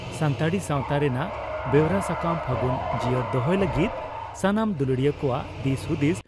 ᱥᱟᱱᱛᱟᱲᱤ ᱥᱟᱣᱛᱟ ᱨᱮᱱᱟᱜ ᱵᱮᱣᱨᱟ ᱥᱟᱠᱟᱢ 'ᱯᱷᱟᱹᱜᱩᱱ' ᱡᱤᱭᱟᱹᱲ ᱫᱚᱦᱚᱭ ᱞᱟᱹᱜᱤᱫ ᱥᱟᱱᱟᱢ ᱫᱩᱞᱟᱹᱲᱤᱭᱟᱹ ᱠᱚᱣᱟᱜ ᱫᱤᱥ ᱦᱩᱫᱤᱥ